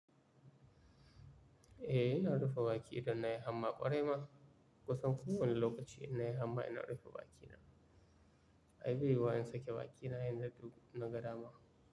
Eh ina rufe baki idan na yi hamma ƙwarai ma. Kusan kowani lokaci ina yi amma ina rufe baki na. Ai bai yi wa in sake baki na yin da duk nagada ma.